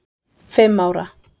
fimm ára.